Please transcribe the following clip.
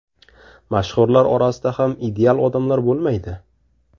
Mashhurlar orasida ham ideal odamlar bo‘lmaydi.